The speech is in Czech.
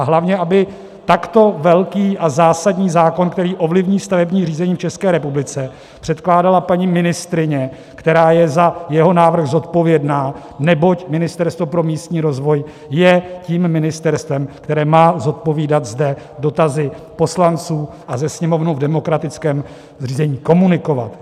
A hlavně aby takto velký a zásadní zákon, který ovlivní stavební řízení v České republice, předkládala paní ministryně, která je za jeho návrh zodpovědná, neboť Ministerstvo pro místní rozvoj je tím ministerstvem, které má zodpovídat zde dotazy poslanců a Se sněmovnu v demokratickém řízení komunikovat.